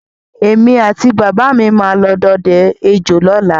Èmi àti bàbà mi máa lọ dọdẹ ejò lọ́la